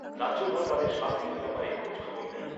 রাজ্যপাল তাঁদের স্বাস্থ্যের ব্যাপারে খোঁজখবর নেন।